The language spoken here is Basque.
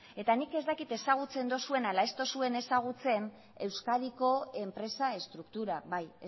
eta nik ez dakit ezagutzen dozuen ala ez dozuen ezagutzen euskadiko enpresa estruktura bai